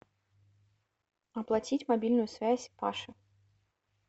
оплатить мобильную связь паши